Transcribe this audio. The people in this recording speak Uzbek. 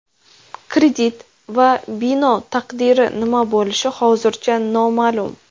Kredit va bino taqdiri nima bo‘lishi hozircha noma’lum.